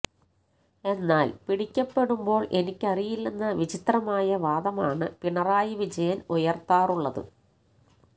എന്നാൽ പിടിക്കപ്പെടുമ്പോൾ എനിക്കറിയില്ലെന്ന വിചിത്രമായ വാദമാണ് പിണറായി വിജയൻ ഉയർത്താറുള്ളത്